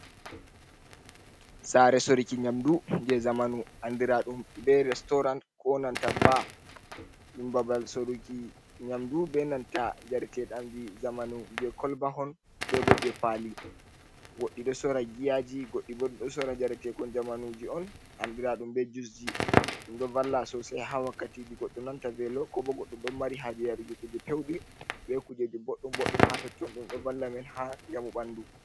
Sare Sorruki nyamdu je zamanu andiraɗum be restorant ko nanta baa. Ɗum babal Soduki nyamdu be nanta njaretedamji zamanu je kolbahon bebo je Pali, godɗi ɗo sora giyaji godɗi bo ɗi ɗo Sorra njaretekon zamanuji'on andiraɗum be jusji. Ɗum ɗo valla Sosai ha wakkatiji godɗo nanta velo ko bo godɗo ɗon Mari haje yaruki kuje Peuɗi be kujeji bodɗum bodɗum ha totton ɗum ɗo valla men ha njamu ɓandu.